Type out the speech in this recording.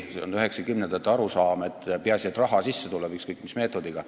See oli 1990-ndate arusaam, et peaasi, et raha sisse tuleb, ükskõik mis meetodiga.